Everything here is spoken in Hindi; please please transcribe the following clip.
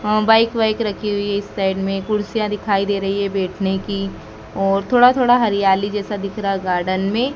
हां बाइक वाइक रखी हुई है इस साइड में कुर्सियां दिखाई दे रही है बैठने की और थोड़ा थोड़ा हरियाली जैसा दिख रहा गार्डन में।